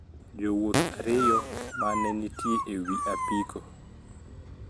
Jowuoth ariyo ma ne nitie e wi apiko